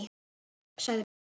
sagði Björn.